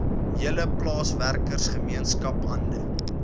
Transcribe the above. hele plaaswerkergemeenskap hande